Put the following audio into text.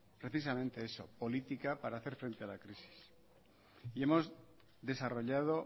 precisamente eso política para hacer frente a la crisis y hemos desarrollado